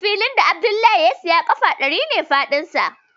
Filin da Abdallah ya saya ƙafa ɗari ne faɗinsa